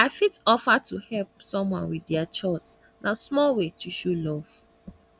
i fit offer to help someone with dia chores na small way to show love